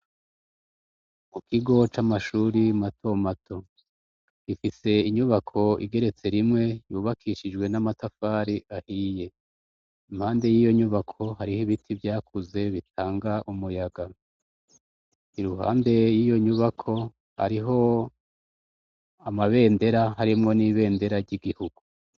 Ikigo c'amashure mato mato ,ifise inyubako igeretse rimwe yubakishijwe n'amatafari ahiye, impande yiyo nyubako harih'ibiti vyakuze bitanga umuyaga, impande yiyo nyubako hariho amabendera harimwo n'ibendera ry'igihugu.